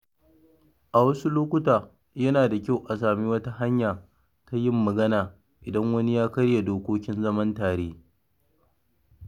A wasu lokuta, yana da kyau a sami wata hanya ta yin magana idan wani ya karya dokokin zaman tare.